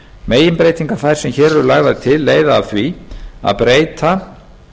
meginbreytingar þær sem hér eru lagðar til leiða af því að breyta